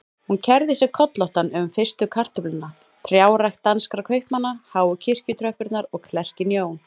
Hún kærði sig kollótta um fyrstu kartöfluna, trjárækt danskra kaupmanna, háu kirkjutröppurnar og klerkinn Jón